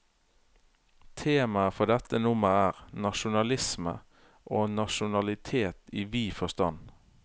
Temaet for dette nummer er, nasjonalisme og nasjonalitet i vid forstand.